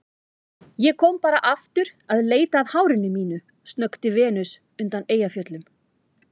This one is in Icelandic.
Ég kom bara aftur að leita að hárinu mínu, snökti Venus undan Eyjafjöllum.